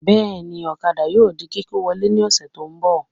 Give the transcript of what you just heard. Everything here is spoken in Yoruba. Bẹ́ẹ̀ni, ọ̀kadà yóò di kíkó wọlé ní ọ̀sẹ̀ tó ń bọ̀